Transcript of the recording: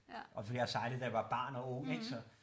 Også fordi jeg har sejlet da jeg var barn og ung ik så